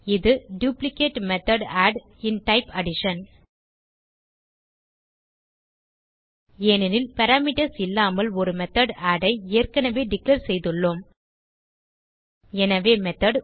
இது duplicate method add in type addition ஏனெனில் parameters இல்லாமல் ஒரு மெத்தோட் ஆட் ஐ ஏற்கனவே டிக்ளேர் செய்துள்ளோம் எனவே மெத்தோட்